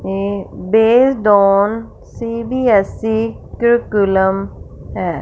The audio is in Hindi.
ये बेस्ड ऑन सी_बी_एस_ई कुकूलम है।